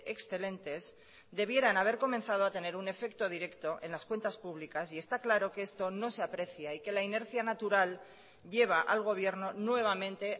excelentes debieran haber comenzado a tener un efecto directo en las cuentas públicas y está claro que esto no se aprecia y que la inercia natural lleva al gobierno nuevamente